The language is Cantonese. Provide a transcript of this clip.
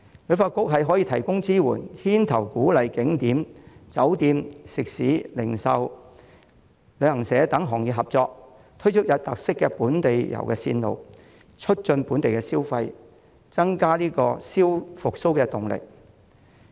旅發局可以提供支援，牽頭鼓勵景點、酒店、食肆、零售、旅行社等行業合作，推出有特色的本地遊路線，促進本地消費，增加復蘇的動力。